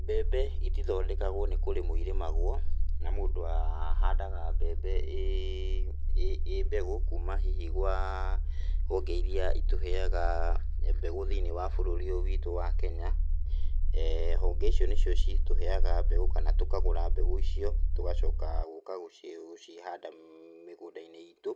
Mbembe itithondekagwo nĩ kũrĩmwo irimagwo na mũndũ ahandaga mbembe ĩĩ mbegũ kuuma hihi gwa honge iria itũheaga mbegu thĩiniĩ wa bũrũri ũyũ witũ wa Kenya. Honge icio nicio citũheaga mbegu kana tũkagũra mbegu icio tũgacoka gũũka gũci, gũcihanda mĩgũnda-inĩ itũ.